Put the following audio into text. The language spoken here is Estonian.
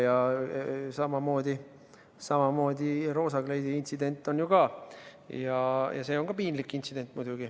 Ja samamoodi roosa kleidi intsident on ju ka, ja seegi on piinlik intsident.